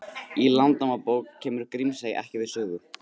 Í Landnámabók kemur Grímsey ekki við sögu.